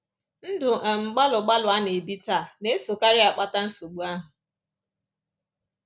Ndụ um gbalụgbalụ a na-ebi taa na-esokarị akpata nsogbu ahụ.